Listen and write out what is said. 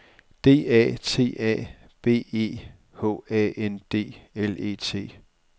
D A T A B E H A N D L E T